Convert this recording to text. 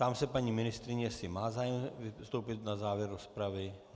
Ptám se paní ministryně, jestli má zájem vystoupit na závěr rozpravy.